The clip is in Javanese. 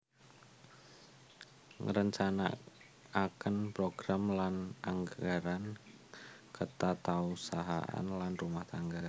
Ngrencanakaken program lan anggaran ketatausahaan lan rumah tangga